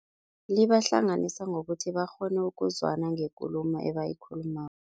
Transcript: Libahlanganisa ngokuthi bakghone ukuzwana ngekulumo ebayikhulumako.